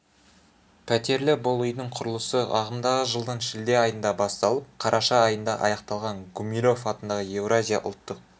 пәтерлі бұл үйдің құрылысы ағымдағы жылдың шілде айында басталып қараша айында аяқталған гумилев атындағы еуразия ұлттық